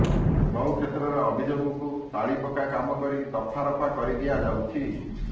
ବହୁ କ୍ଷେତ୍ରରେ ଅଭିଯୋଗକୁ ତାଳିପକା କାମ କରି ଦଫାରଫା କରିଦିଆ ଯାଉଛି